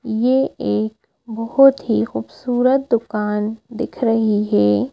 ये एक बहोत ही खूबसूरत दुकान दिख रही है।